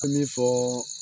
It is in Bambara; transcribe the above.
An bɛ fɔɔɔɔ.